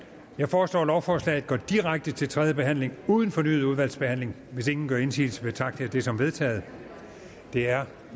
jeg foreslår at lovforslaget går direkte til tredje behandling uden fornyet udvalgsbehandling hvis ingen gør indsigelse betragter jeg det som vedtaget det er